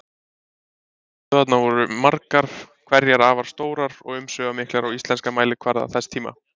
Stöðvarnar voru margar hverjar afar stórar og umsvifamiklar á íslenskan mælikvarða þess tíma.